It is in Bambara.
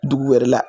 Dugu wɛrɛ la